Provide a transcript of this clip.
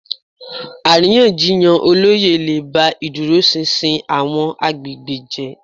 Àríyànjiyàn olóyè lè ba ìdúróṣinṣin àwọn agbègbè jẹ́